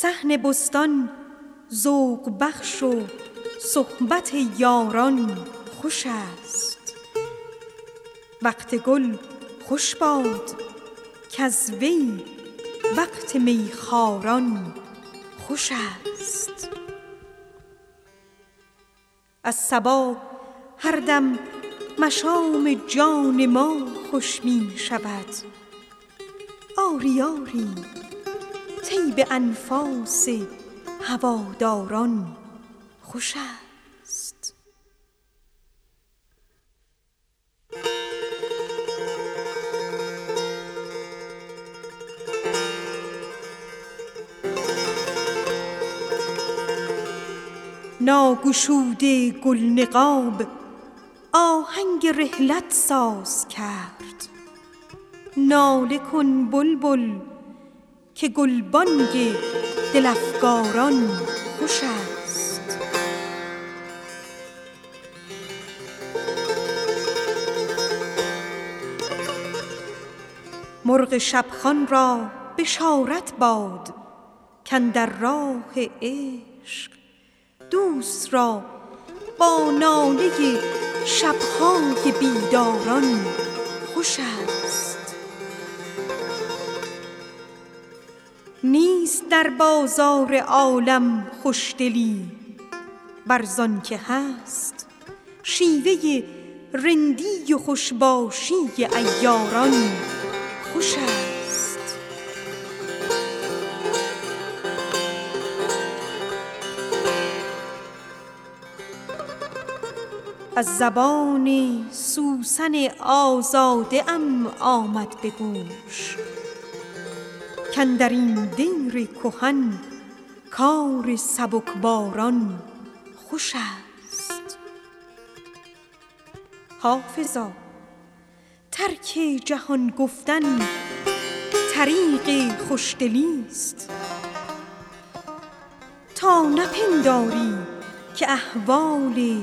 صحن بستان ذوق بخش و صحبت یاران خوش است وقت گل خوش باد کز وی وقت می خواران خوش است از صبا هر دم مشام جان ما خوش می شود آری آری طیب انفاس هواداران خوش است ناگشوده گل نقاب آهنگ رحلت ساز کرد ناله کن بلبل که گلبانگ دل افکاران خوش است مرغ خوشخوان را بشارت باد کاندر راه عشق دوست را با ناله شب های بیداران خوش است نیست در بازار عالم خوشدلی ور زان که هست شیوه رندی و خوش باشی عیاران خوش است از زبان سوسن آزاده ام آمد به گوش کاندر این دیر کهن کار سبکباران خوش است حافظا ترک جهان گفتن طریق خوشدلیست تا نپنداری که احوال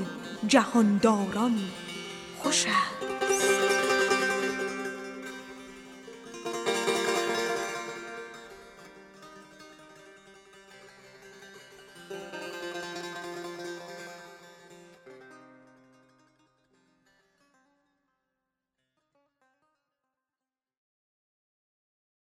جهان داران خوش است